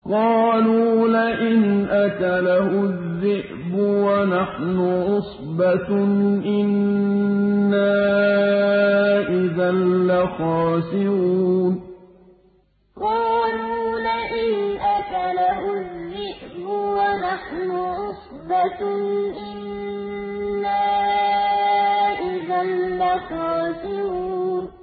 قَالُوا لَئِنْ أَكَلَهُ الذِّئْبُ وَنَحْنُ عُصْبَةٌ إِنَّا إِذًا لَّخَاسِرُونَ قَالُوا لَئِنْ أَكَلَهُ الذِّئْبُ وَنَحْنُ عُصْبَةٌ إِنَّا إِذًا لَّخَاسِرُونَ